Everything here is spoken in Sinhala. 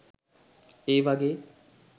ඒ වගේ